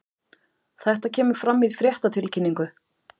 Þetta kemur fram í fréttatilkynningu